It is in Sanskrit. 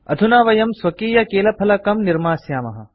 अधुना वयं स्वकीयकीलफलकं कीबोर्ड निर्मास्यामः